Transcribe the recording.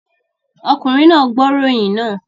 Ọkùnrin náà ń gbọ́ ìròyìn náà